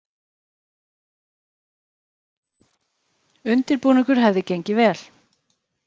Undirbúningur hefði gengið vel